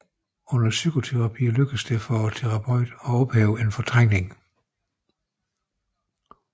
Under psykoterapi lykkes det for terapeuten at ophæve en fortrængning